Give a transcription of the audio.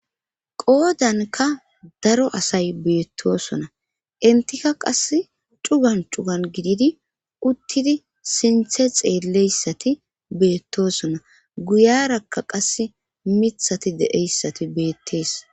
qoodankka daro asay beettoosona;enttikka qassi cugan cugan gididi uttidi sinthe xeelleyssati beettoosona;guyaarakka qassi mithati de7eyssati beettes.